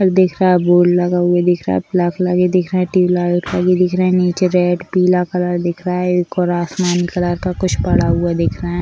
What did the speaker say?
और दिख रहा बोर्ड लगा हुआ दिख रहा है प्लग लगे दिख रहे हैं | ट्यूबलाइट भी दिख रहे हैं | निचे रेड पीला कलर दिख रहा है ऊपर आसमान कलर का कुछ पड़ा हुआ दिख रहा है।